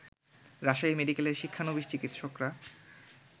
রাজশাহী মেডিকেলের শিক্ষানবিস চিকিৎসকরা